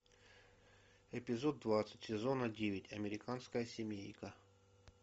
эпизод двадцать сезона девять американская семейка